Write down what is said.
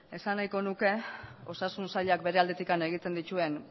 esan nahiko nuke osasun sailak bere aldetik egiten dituen